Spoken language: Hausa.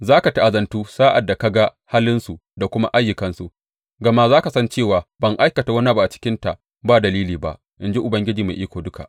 Za ka ta’azantu sa’ad da ka ga halinsu da kuma ayyukansu, gama za ka san cewa ban aikata wani abu a cikinta ba dalili ba, in ji Ubangiji Mai Iko Duka.